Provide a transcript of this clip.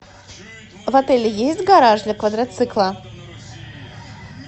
в отеле есть гараж для квадроцикла